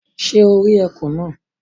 Sé o rí ekùn náà